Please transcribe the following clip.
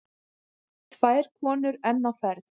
Tvær konur enn á ferð.